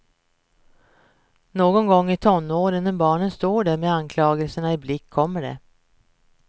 Någon gång i tonåren, när barnet står där med anklagelse i blick kommer det.